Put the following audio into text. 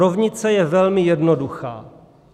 Rovnice je velmi jednoduchá.